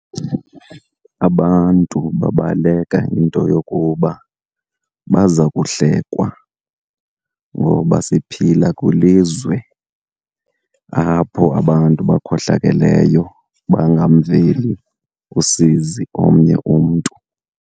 Abantu babaleka into yokuba baza kuhlekwa, ngoba siphila kwilizwe apho abantu bakhohlakeleyo bangamveli usizi omnye umntu.